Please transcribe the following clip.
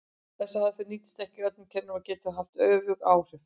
Þessi aðferð nýtist ekki öllum kennurum og getur haft öfug áhrif.